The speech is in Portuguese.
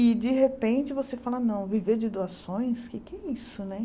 E, de repente, você fala, não, viver de doações, o queé que é isso, né?